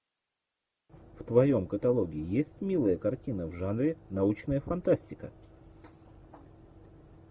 в твоем каталоге есть милая картина в жанре научная фантастика